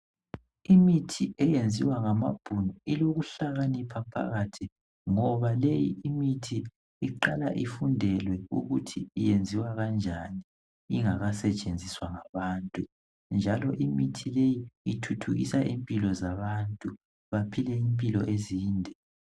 Imithi eyenziwa ngamabhunu ilokuhlakanipha phakathi ngoba leyi imithi iqala ifundelwe ukuthi yenziwa kanjani ingakasetshenziswa ngabantu. Njalo imithi leyi ithuthukisa impilo zabantu baphile impilo ezinde.